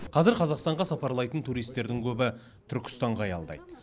қазір қазақстанға сапарлайтын туристердің көбі түркістанға аялдайды